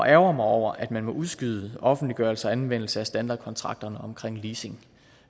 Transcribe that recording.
ærgre mig over at man må udskyde offentliggørelse og anvendelse af standardkontrakterne omkring leasing